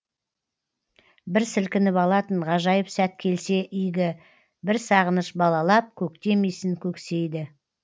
бір сілкініп алатын ғажайып сәт келсе игі бір сағыныш балалап көктем исін көксейді